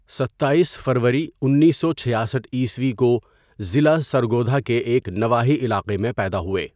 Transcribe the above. ستاٮٔیس فروری اُنیسو چھیاسٹھء كو ضلع سرگودھا كے ایک نواحی علاقہ میں پیدا ہوئے.